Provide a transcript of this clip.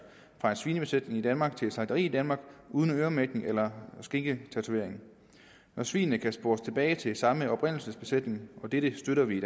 fra en svinebesætning i danmark til et slagteri i danmark uden øremærkning eller skinketatovering når svinene kan spores tilbage til samme oprindelsesbesætning og dette støtter vi i